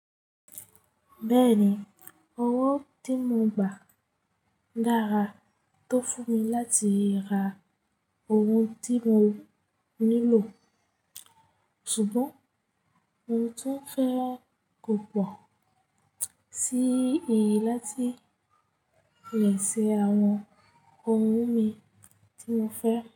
Bẹ́ẹ̀ni, owó tí mo gbà dára tó fún mi láti ra owó tí mo nílò. Ṣùgbọ́n mo tún fẹ́ kó pọ̀ sí i láti lè ṣe àwọn ohun mi tí mo fẹ́.